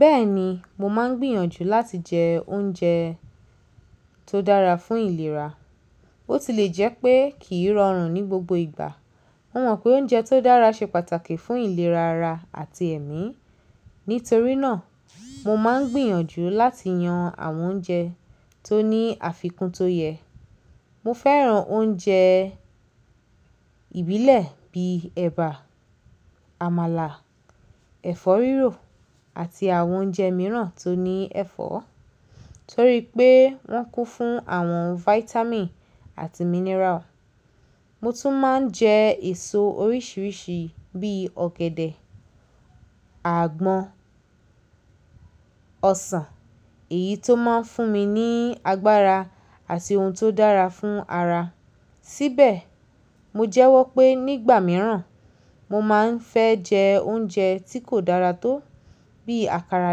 Bẹ́ẹ̀ni, mo máa ń gbìyànjú láti jẹ oúnjẹ tó dára fún ìlera. Ó ti lè jẹ́ pé kì í rọrùn ní gbogbo ìgbà. Mo mọ̀ pé oúnjẹ tó dára ṣe pàtàkì fún ìlera ara àti ẹ̀mí. Nítorí náà, mo máa ń gbìyànjú láti yan àwọn oúnjẹ tó ní àfikún tó yẹ. Mo fẹ́ràn oúnjẹ ìbílẹ̀ bíi ẹ̀bà, àmàlà, ẹ̀fọ́ rírò àti àwọn oúnjẹ mìíràn tó ní ẹ̀fọ́ torí pé wọ́n kún fún àwọn vitamin àti mineral. Mo tún máa ń jẹ èso oríṣìíríṣìí bíi ọ̀gẹ̀dẹ̀, àgbọn, ọsàn èyí tó máa ń fún mi ní agbára àti ohun tó dára fún ara. Síbẹ̀, mo jẹ́wọ́ pé nígbà mìíràn mo máa ń fẹ́ jẹ oúnjẹ tí kò dára tó bí àkàrà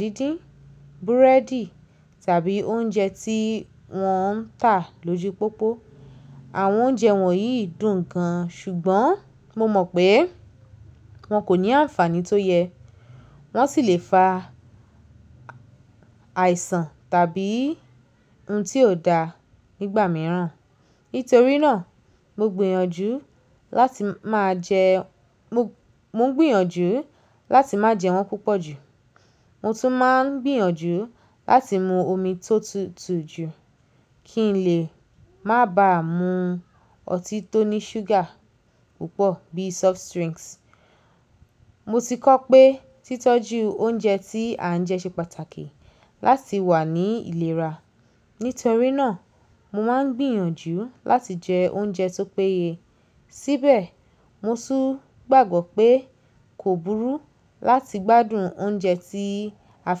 díndín, búrẹ́dì tàbí oúnjẹ tí wọ́n ń tà lójú pópó. Àwọn oúnjẹ wọ̀nyí dùn gan-an, ṣùgbọ́n mo mọ̀ pé wọn kò ní àǹfààní tó yẹ. Wọ́n sì lè fa àìsàn tàbí ohun tí ò dáa nígbà mìíràn. Nítorí náà, mo gbìyànjú láti máa jẹ, mò ń gbìyànjú láti má jẹ wọ́n púpọ̀ jù. Mo tún máa ń gbìyànjú láti mu omi tó tutù jù kí n lè má ba mu ọtí tó ní ṣúgà púpọ̀ bí soft drinks. Mo ti kọ́ pé títọ́jú oúnjẹ tí à ń jẹ ṣe pàtàkì láti wà ní ìlera. Nítorí náà, mo máa ń gbìyànjú láti jẹ oúnjẹ tó péye. Síbẹ̀, mo tún gbàgbọ́ pé kò burú láti gbádùn oúnjẹ tí a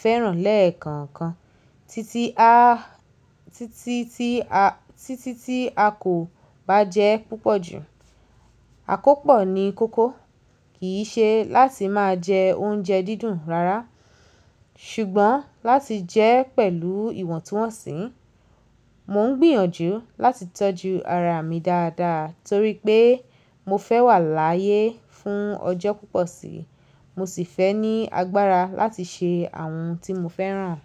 fẹ́ràn lẹ́ẹ̀kọ̀ọ̀kan títí a, títí tí a, títí tí a kò bá jẹẹ́ púpọ̀ jù. Àkópọ̀ ni kókó, kì í ṣe láti máa jẹ oúnjẹ dídùn rárá ṣùgbọ́n láti jẹẹ́ pẹ̀lú ìwọ̀ntúnwọ̀nsì. Mò ń gbìyànjú láti tọ́jú ara mi dáadáa torí pé mo fẹ́ wà láyé fún ọjọ́ púpọ̀ síi. Mo sì fẹ́ ní agbára láti ṣe àwọn ohun tí mo fẹ́ràn.